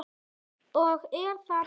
Og er það betra?